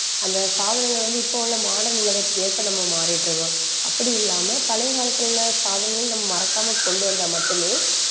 அந்த சாதனங்கள் வந்து இப்ப உள்ள modern உலகத்துக்கு ஏற்ப நம்ம மாறிட்டிருக்கோம். அப்படி இல்லாம பழைய காலத்துல உள்ள சாதனங்களை நம்ம மறக்காம கொண்டு வந்தா மட்டுமே